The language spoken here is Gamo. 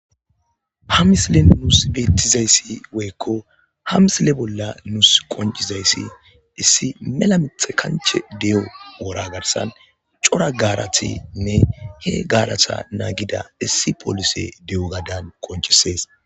ha misilen nus beettizayssi woykko ha misile bolla nuus qoncizayssi issi mela mixe kanche de7o wora garsan cora gaaratinne he gaarata naagida issi polise de7o gadan qonchisees